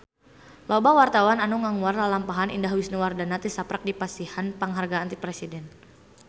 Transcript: Loba wartawan anu ngaguar lalampahan Indah Wisnuwardana tisaprak dipasihan panghargaan ti Presiden